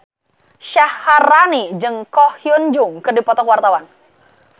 Syaharani jeung Ko Hyun Jung keur dipoto ku wartawan